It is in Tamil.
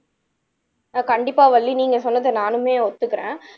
ஆஹ் கண்டிப்பா வள்ளி நீங்க சொன்னதை நானுமே ஒத்துக்குறேன்